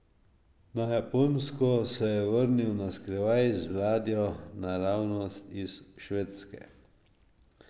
Na Japonsko se je vrnil na skrivaj z ladjo naravnost iz Švedske.